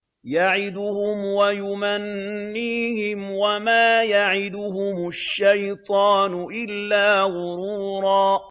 يَعِدُهُمْ وَيُمَنِّيهِمْ ۖ وَمَا يَعِدُهُمُ الشَّيْطَانُ إِلَّا غُرُورًا